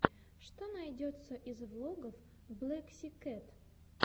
что найдется из влогов блэксикэт